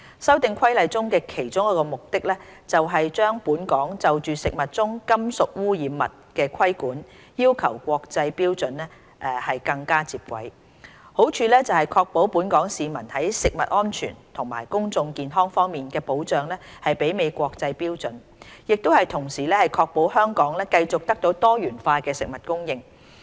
《修訂規例》的其中一個目的，是把本港就食物中金屬污染物的規管要求與國際標準更接軌，好處是確保本港市民在食物安全及公眾健康方面的保障媲美國際標準，亦同時確保香港繼續得到多元化的食物供應。